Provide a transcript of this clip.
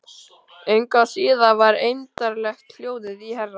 Engu að síður var eymdarlegt hljóðið í herra